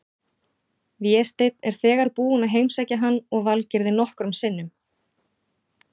Vésteinn er þegar búinn að heimsækja hann og Valgerði nokkrum sinnum.